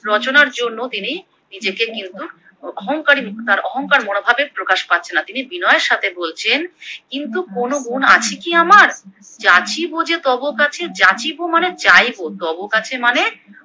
রচনার জন্য তিনি নিজেকে কিন্তু অহং করি তার অহংকার মনোভাবের প্রকাশ পাচ্ছেনা, তিনি বিনয়ের সাথে বলছেন কিন্তু কোনো গুণ আছে কি আমার, যাচিব ও যে তব কাছে, যাচিব মানে যাইবো তব কাছে মানে